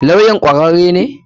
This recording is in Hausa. Lawyan kwararre ne?